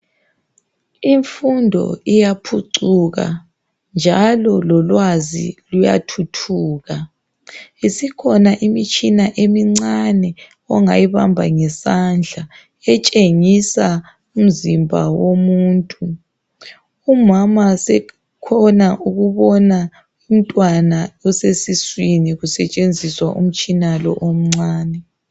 Imfundo iyaphucuka njalo lolwazi luyathuthuka. Isikhona imitshina emincane ongayibamba ngesandla etshengisa umzimba womuntu. Umama sekhona ukubona umntwana osesiswini kusetshenziswa umtshina lo omncane.